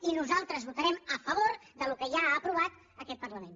i nosaltres votarem a favor del que ja ha aprovat aquest parlament